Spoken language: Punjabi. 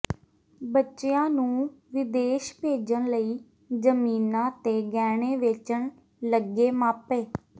ਬੱਚਿਆਂ ਨੂੰ ਵਿਦੇਸ਼ ਭੇਜਣ ਲਈ ਜ਼ਮੀਨਾਂ ਤੇ ਗਹਿਣੇ ਵੇਚਣ ਲੱਗੇ ਮਾਪੇ